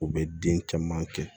U bɛ den caman kɛ